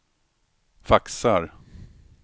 faxar